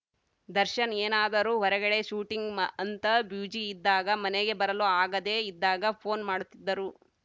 ದರ್ಶನ್‌ ಏನಾದರೂ ಹೊರಗಡೆ ಶೂಟಿಂಗ್‌ ಅಂತ ಬ್ಯುಜಿ ಇದ್ದಾಗ ಮನೆಗೆ ಬರಲು ಆಗದೇ ಇದ್ದಾಗ ಫೋನ್‌ ಮಾಡುತ್ತಿದ್ದರು